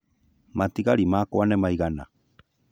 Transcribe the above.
Matigari makwa nĩ maigana